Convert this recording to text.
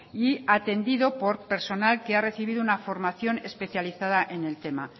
y atendido por personal que ha recibido una formación especializada en el tema